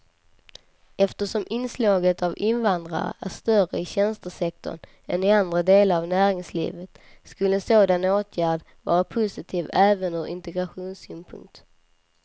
Eftersom inslaget av invandrare är större i tjänstesektorn än i andra delar av näringslivet skulle en sådan åtgärd vara positiv även ur integrationssynpunkt.